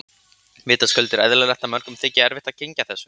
Vitaskuld er eðlilegt að mörgum þyki erfitt að kyngja þessu.